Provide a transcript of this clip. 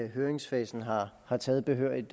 høringsfasen har har taget behørigt